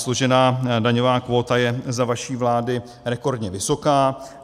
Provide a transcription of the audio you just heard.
Složená daňová kvóta je za vaší vlády rekordně vysoká.